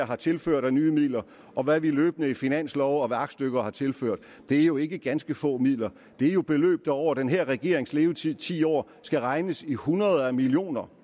har tilført nye midler og hvad vi løbende i finansloven og ved aktstykker har tilført det er jo ikke ganske få midler det er jo beløb der over den her regerings levetid ti år skal regnes i hundreder af millioner